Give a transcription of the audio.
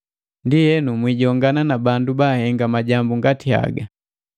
Ndienu, mwiijongana na bandu bahenga majambu ngati haga.